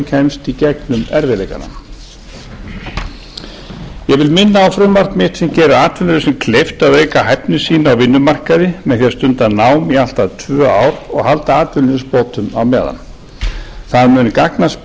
kemst í gegnum erfiðleikana ég vil minna á frumvarp mitt sem gerir atvinnulausum kleift að auka hæfni sína á vinnumarkaði með því að stunda nám í allt að tvö ár og halda atvinnuleysisbótum á meðan það mun gagnast